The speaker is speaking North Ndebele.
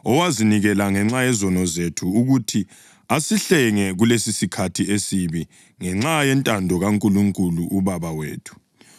owazinikela ngenxa yezono zethu ukuthi asihlenge kulesisikhathi esibi, ngenxa yentando kaNkulunkulu uBaba wethu,